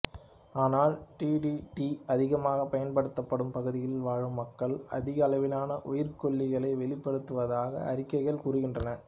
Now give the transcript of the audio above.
ஆனால் D D T அதிகமாக பயன்படுத்தப்படும் பகுதிகளில் வாழும் மக்களுக்கு அதிக அளவிலான உயிர்க்கொல்லிகளை வெளிப்படுத்துவதாக அறிக்கைகள் கூறுகின்றன